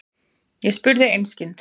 Ég spurði einskis.